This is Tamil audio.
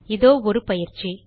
இதோ ஒரு பயிற்சி